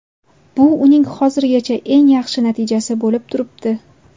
Bu uning hozirgacha eng yaxshi natijasi bo‘lib turibdi.